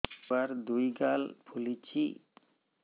ଛୁଆର୍ ଦୁଇ ଗାଲ ଫୁଲିଚି